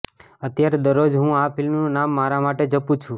અત્યારે દરરોજ હું આ ફિલ્મનું નામ મારા માટે જપું છું